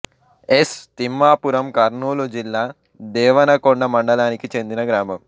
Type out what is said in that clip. yes Thimmapuram Kurnool జిల్లా దేవనకొండ మండలానికి చెందిన గ్రామం